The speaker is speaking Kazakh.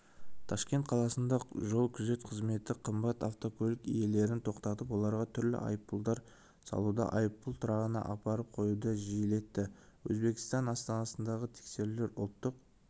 ташкент қаласында жол-күзет қызметі қымбат автокөлік иелерін тоқтаып оларға түрлі айыппұлдар салуды айыппұл тұрағына апарып қоюды жиілетті өзбекстан астанасындағы тексерулер ұлттық